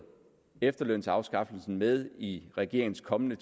efterlønsafskaffelsen med i regeringens kommende